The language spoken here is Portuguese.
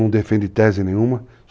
Não defende tese nenhuma.